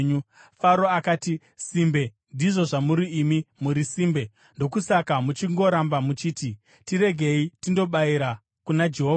Faro akati, “Simbe, ndizvo zvamuri imi, muri simbe! Ndokusaka muchingoramba muchiti, ‘Tiregei tindobayira kuna Jehovha.’